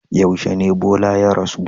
Yaushe ne Bola ya rasu?